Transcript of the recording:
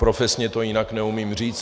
Profesně to jinak neumím říct.